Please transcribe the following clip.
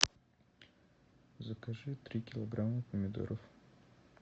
закажи три килограмма помидоров